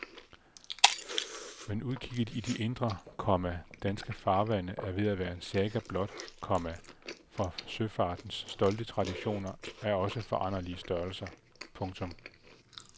Men udkigget i de indre, komma danske farvande er ved at være en saga blot, komma for søfartens stolte traditioner er også foranderlige størrelser. punktum